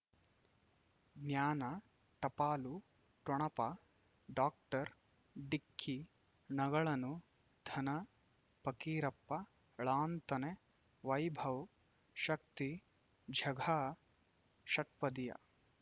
ಜ್ಞಾನ ಟಪಾಲು ಠೊಣಪ ಡಾಕ್ಟರ್ ಢಿಕ್ಕಿ ಣಗಳನು ಧನ ಫಕೀರಪ್ಪ ಳಂತಾನೆ ವೈಭವ್ ಶಕ್ತಿ ಝಗಾ ಷಟ್ಪದಿಯ